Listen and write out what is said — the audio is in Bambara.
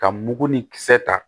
Ka mugu ni kisɛ ta